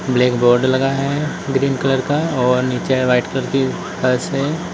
Black board लगा है green colour का और नीचे वाइट की फर्श है।